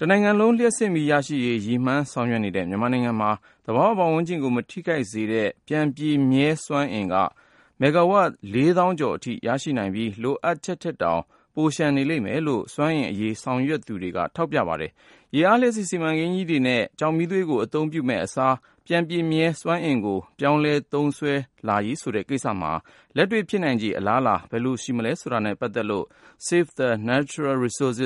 တနိုင်ငံလုံး လျှပ်စစ်မီးရရှိရေး ရည်မှန်း ဆောင်ရွက်နေတဲ့ မြန်မာနိုင်ငံမှာ သဘာဝပတ်ဝန်းကျင်ကို မထိခိုက်စေတဲ့ ပြန်ပြည့်မြဲစွမ်းအင်က မဂ္ဂါဝပ် ၄ သောင်းကျော် အထိ ရရှိနိုင်ပြီး လိုအပ်ချက်ထက်တောင် ပိုလျှံနေတယ်လို့ စွမ်းအင်အရေး ဆောင်ရွက်နေသူတွေက ထောက်ပြပါတယ်။ ရေအားလျှပ်စစ်စီမံကိန်းကြီးတွေနဲ့ ကျောက်မီးသွေး အသုံးပြုမယ့်အစား ပြန်ပြည့်မြဲစွမ်းအင်ကို ပြောင်းလဲလာရေး ဆိုတာမှာ လက်တွေ့ ဖြစ်နိုင်ခြေ အလားအလာတွေနဲ့ ပတ်သက်လို့ Save the Natural Resource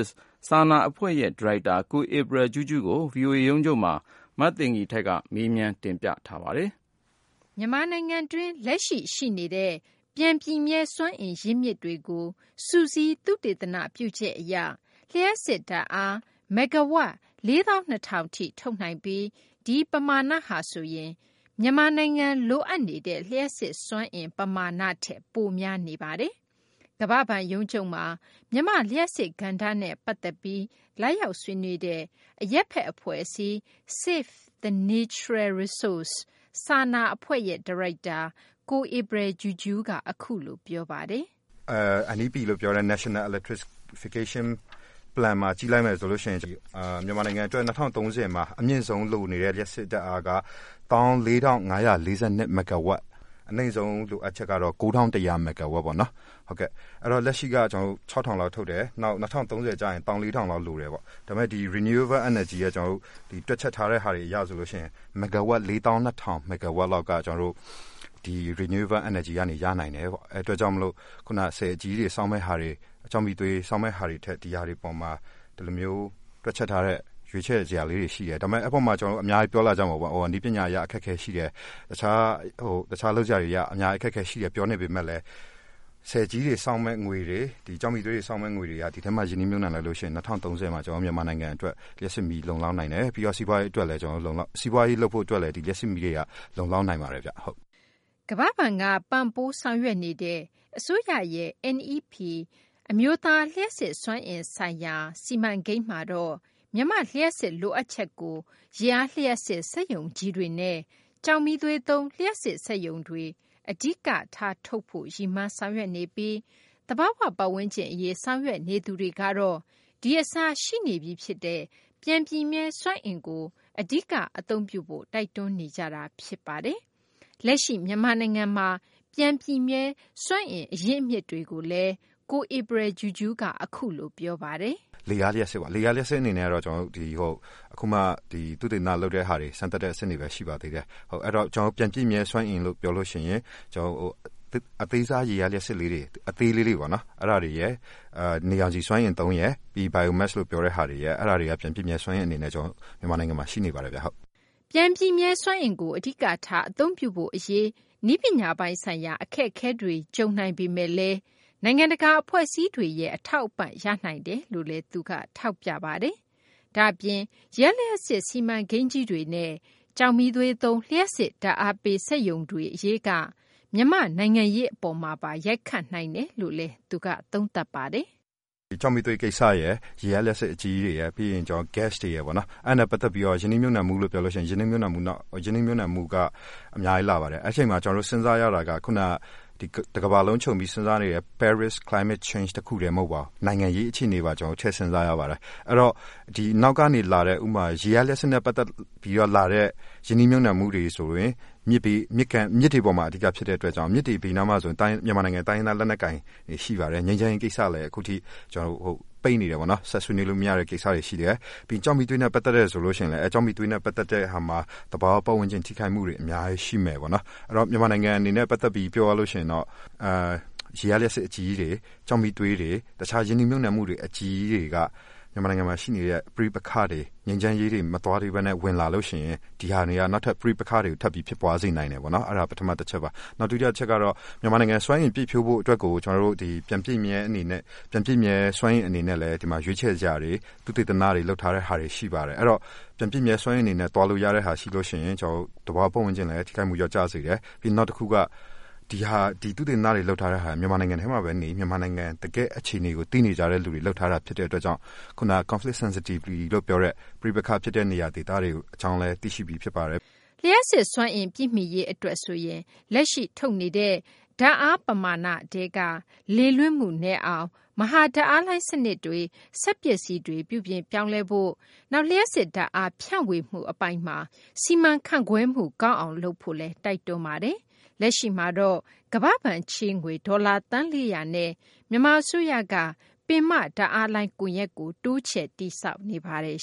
စာနာအဖွဲ့ရဲ့ ဒါရိုက်တာ ကိုဧပရယ်ကြူကြူးကို ဗွီအိုအေရုံးချုပ်မှာ မသိင်္ဂီထိုက်က မေးမြန်း တင်ပြထားပါတယ်။ မြန်မာနိုင်ငံတွင်းက လက်ရှိ ရှိနေတဲ့ ပြန်ပြည့်မြဲစွမ်းအင် ရင်းမြစ်တွေကို စုစည်း သုတေသန ပြုချက်အရ လျှပ်စစ်ဓာတ်အား မဂ္ဂါဝပ် ၄၂,၀၀၀ ထိ ထုတ်နိုင်ပြီး ဒီပမာဏဟာဆိုရင် မြန်မာနိုင်ငံ လိုအပ်နေတဲ့ လျှပ်စစ်စွမ်းအင် ပမာဏထက် ပိုများနေတာပါ။ ကမ္ဘာ့ဘဏ်ရုံးချုပ်မှာ မြန်မာ့လျှပ်စစ်ကဏ္ဍနဲ့ ပတ်သက်ပြီး လာရောက် ဆွေးနွေးတဲ့ အရပ်ဘက်အဖွဲ့အစည်း Save the Natural Resource စာနာအဖွဲ့ရဲ့ ဒါရိုက်တာ ကိုဧပရယ်ကြူကြူးက အခုလို ပြောပါတယ်။ “NEP လို့ပြောတဲ့ Natural Electrification Plan မှာ ကြည့်လိုက်မယ်ဆိုရင် မြန်မာနိုင်ငံအတွက် ၂၀၃၀ မှာ အမြင့်ဆုံးလိုနေတဲ့ လျှပ်စစ်ဓာတ်အားက ၁၄၅၄၂ မဂ္ဂါဝပ်၊ အနိမ့်ဆုံးလိုအပ်ချက်ကတော့ ၉၁၀၀ မဂ္ဂါဝပ်ပေါ့နော်၊ အဲတော့ လက်ရှိက ၆၀၀၀ လောက်ထုတ်တယ်၊ ၂၀၃၀ ကျရင် ၁၄၀၀၀ လောက် လိုတယ်ပေါ့။ ဒါပေမယ့် Renewable Energy က တွက်ချက်ထားတဲ့ဟာတွေအရ ဆိုရင် ၄၂၀၀၀ မဂ္ဂါဝပ်လောက်က ဒီ Renewable Energy ကနေ ရနိုင်တယ်ပေါ့။ ဒါကြောင့်မို့ ခုန ဆည်အကြီးကြီးတွေ ဆောက်မယ့်ဟာတွေ၊ ကျောက်မီးသွေး ဆောက်မယ့်ဟာတွေထက် ဒီဟာတွေပေါ်မှာ ဒီလိုမျိုး တွက်ချက်ထားတဲ့ ရွေးချယ်စရာလေးတွေ ရှိတယ်။ “ဒါပေမယ့် အဲဒီမှာ အများကြီးပြောလာကြမှာပေါ့၊ နည်းပညာအရ အခက်အခဲရှိတယ်၊ တခြားလုပ်စရာတွေက အများကြီး အခက်အခဲရှိတယ် ပြောနေပေမယ့်လည်း ဆည်ကြီးတွေဆောက်မယ့် ငွေတွေ၊ ကျောက်မီးသွေးတွေ ဆောက်မယ့်ငွေတွေက ဒီထဲမှာ ရင်းနှီးမြှုပ်နှံလိုက်ရင် ၂၀၃၀ မှာ ကျနော်တို့ မြန်မာနိုင်ငံအတွက် လျှပ်စစ်မီး လုံလောက်နိုင်တယ်။ ပြီးတော့ စီးပွားရေးလုပ်ဖို့အတွက်လည်း ဒီလျှပ်စစ်မီးတွေက လုံလောက်နိုင်ပါတယ်ဗျ။” ကမ္ဘာ့ဘဏ်က ပံ့ပိုးဆောင်ရွက်နေတဲ့ အစိုးရရဲ့ NEP အမျိုးသား လျှပ်စစ်စွမ်းအင်ဆိုင်ရာ စီမံကိန်းမှာတော့ မြန်မာ့လျှပ်စစ် လိုအပ်ချက်ကို ရေအားလျှပ်စစ် စက်ရုံကြီးတွေနဲ့ ကျောက်မီးသွေးသုံး လျှပ်စစ်စက်ရုံတွေက အဓိကထားထုတ်ဖို့ ရည်မှန်း ဆောင်ရွက်နေပြီး သဘာဝပတ်ဝန်းကျင်အရေး ဆောင်ရွက်သူတွေကတော့ ဒီအစား ရှိနေပြီးဖြစ်တဲ့ ပြန်ပြည့်မြဲစွမ်းအင်ကို အဓိက အသုံးပြုဖို့ တိုက်တွန်းနေကြတာ ဖြစ်ပါတယ်။ လက်ရှိ မြန်မာနိုင်ငံမှာရှိနေတဲ့ ပြန်ပြည့်မြဲစွမ်းအင် ရင်းမြစ်တွေကိုလည်း ကိုဧပရယ်ကြူကြူးက အခုလို ပြောပါတယ်။ “လေအားလျှပ်စစ်ပေါ့၊ လေအားလျှပ်စစ်အနေနဲ့တော့ ကျနော်တို့ အခုမှ သုတေသနလုပ်တဲ့ဟာတွေ၊ စမ်းသပ်တဲ့အဆင့်တွေပဲ ရှိပါသေးတယ်။ အဲတော့ ပြန်ပြည့်မြဲစွမ်းအင်လို့ ပြောလို့ရှိရင် အသေးစား ရေအားလျှပ်စစ်လေးတွေ၊ အသေးလေးတွေ ပေါ့နော်၊ အဲဒါတွေရယ်၊ နေရောင်ခြည်စွမ်းအင်သုံးရယ်၊ Biomass လို့ ပြောတဲ့ဟာတွေရယ် အဲဒါတွေက ပြန်ပြည့်မြဲစွမ်းအင် အနေနဲ့ မြန်မာနိုင်ငံမှာ ရှိနေပါတယ်ဗျ။” ပြန်ပြည့်မြဲစွမ်းအင်ကို အဓိကထား အသုံးပြုဖို့အရေးမှာ နည်းပညာပိုင်းဆိုင်ရာ အခက်အခဲတွေ ကြုံတွေ့နိုင်ပေမယ့်လည်း နိုင်ငံတကာ အဖွဲ့အစည်းတွေရဲ့ အထောက်အပံ့တွေ ရနိုင်တယ်လို့လည်း ထောက်ပြပါတယ်။ ဒါ့အပြင် ရေအားလျှပ်စစ် စီမံကိန်းကြီးတွေနဲ့ ကျောက်မီးသွေးသုံး လျှပ်စစ်ဓာတ်အားပေးစက်ရုံ အရေးတွေက မြန်မာ့နိုင်ငံရေး အပေါ်မှာပါ ရိုက်ခတ်နိုင်တယ်လို့လည်း သူက သုံးသပ်ပါတယ်။ “ကျောက်မီးသွေးကိစ္စရယ်၊ ရေအားလျှပ်စစ် အကြီးကြီးတွေရယ်၊ ပြီးရင် ဂက်စ်တွေရယ်ပေါ့၊ အဲဒါတွေနဲ့ပတ်သက်ပြီးတော့ ရင်းနှီးမြှုပ်နှံမှုလို့ ပြောလို့ရှိရင် ရင်းနှီးမြှုပ်နှံမှုက အများကြီးလာပါတယ်။ အဲဒီအချိန်မှာ ကျနော်တို့ စဉ်းစားရတာက တကမ္ဘာလုံးခြုံပြီး စဉ်းစားနေတဲ့ Paris Climate Change တခုတည်း မဟုတ်ပါဘူး။ နိုင်ငံရေးအခြေအနေပါ ထည့်စဉ်းစားရပါတယ်။ အဲတော့ နောက်ကနေလာတဲ့၊ ဥပမာ ရေအားလျှပ်စစ်နဲ့ပတ်သက်ပြီး လာတဲ့ ရင်းနှီးမြှုပ်နှံမှုတွေဆိုရင် မြစ်တွေပေါ်မှာ အဓိကဖြစ်တဲ့အတွက်ကြောင့် မြစ်တွေဘေးနားမှာဆိုရင် မြန်မာနိုင်ငံ တိုင်းရင်းသား လက်နက်ကိုင်တွေ ရှိပါတယ်။ ငြိမ်းချမ်းရေးကိစ္စလည်း အခုထိ ပိတ်နေတယ်ပေါ့၊ ဆက်ဆွေးနွေးလို့မရတဲ့ကိစ္စတွေ ရှိတယ်။ “ကျောက်မီးသွေးနဲ့ ပတ်သက်ရင်လည်း ကျောက်မီးသွေးနဲ့ ပတ်သက်တဲ့ဟာမှာ သဘာဝပတ်ဝန်းကျင် ထိခိုက်မှုတွေ အများကြီးရှိမယ်ပေါ့နော်။ အဲတော့ မြန်မာနိုင်ငံအနေနဲ့ ပတ်သက်ပြီး ပြောရလို့ရှိရင်တော့ ရေအားလျှပ်စစ် အကြီးကြီးတွေ၊ ကျောက်မီးသွေးတွေ၊ တခြား ရင်းနှီးမြှုပ်နှံမှု အကြီးကြီးတွေက မြန်မာနိုင်ငံမှာရှိနေတဲ့ ပဋိ့ပက္ခတွေ၊ ငြိမ်းချမ်းရေးတွေ မသွားသေးဘဲနဲ့ ဝင်လာလို့ရှိရင် ဒီဟာတွေက နောက်ထပ် ပဋိပက္ခတွေ ထပ်ပြီး ဖြစ်ပွားစေနိုင်တယ်ပေါ့။ ဒါ ပထမတချက်ပါ။ “နောက် ဒုတိယတချက်ကတော့ မြန်မာနိုင်ငံ စွမ်းအင်ပြည့်ဖြိုးဖို့အတွက်ကို ပြန်ပြည့်မြဲစွမ်းအင် အနေနဲ့လည်း ဒီမှာ ရွေးချယ်စရာတွေ၊ သုတေသနလုပ်ထားတဲ့ဟာတွေ ရှိပါတယ်။ အဲဒီတော့ ပြန်ပြည့်မြဲစွမ်းအင် အနေနဲ့ သွားလို့ရတဲ့ဟာ ရှိလို့ရှိရင် ကျနော်တို့ သဘာဝပတ်ဝန်းကျင်လည်း ထိခိုက်မှု လျော့ကျစေတယ်၊ နောက်တခုက သုတေသန လုပ်ထားတဲ့ဟာတွေက ဒီမြန်မာနိုင်ငံထဲမှာပဲနေ၊ မြန်မာနိုင်ငံ တကယ့်အခြေအနေကို သိနေကြတဲ့သူတွေ လုပ်ထားတာဖြစ်တဲ့အတွက်ကြောင့် ခုန Conflict Sensitivity လို့ပြောတဲ့ ပဋိပက္ခဖြစ်တဲ့ နေရာဒေသတွေ အကြောင်းလည်း သိရှိပြီးဖြစ်ပါတယ်။” လျှပ်စစ်စွမ်းအင် ပြည့်မီရေးအတွက်ဆိုရင် လက်ရှိထုတ်နေတဲ့ လျှပ်စစ်ဓာတ်အား ပမာဏထဲက လေလွင့်မှုနည်းအောင် မဟာဓာတ်အားလိုင်း စနစ်တွေ၊ စက်ပစ္စည်းတွေ ပြုပြင်ပြောင်းလဲဖို့၊ နောက် လျှပ်စစ်ဓာတ်အား ဖြန့်ဝေမှုအပိုင်းမှာ စီမံခန့်ခွဲမှု ကောင်းအောင်လုပ်ဖို့လည်း တိုက်တွန်းပါတယ်။ လက်ရှိမှာတော့ ကမ္ဘာ့ဘဏ်ချေးငွေ ဒေါ်လာ သန်း ၄၀၀ နဲ့ မြန်မာအစိုးရက ပင်မဓာတ်အားလိုင်း ကွန်ရက်ကို တိုးချဲ့ တည်ဆောက်နေပါတယ်